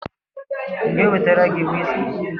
M ga-ewetara gi wiski?